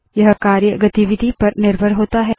यह कार्य गतिविधि पर निर्भर होता है